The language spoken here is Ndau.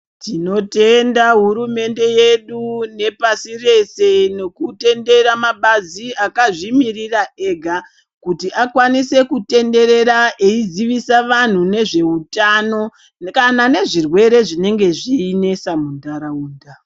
Tinotenda hurumende yedu nepasi rese nekutendera mabazi akazvimirira ega kuti akwanise kutenderera eizivisa vantu nezveutano kana nezvirwere zvinenge zveinesa muntaraunda.